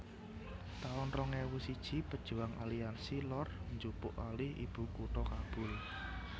taun rong ewu siji Pejuwang Aliansi Lor njupuk alih ibu kutha Kabul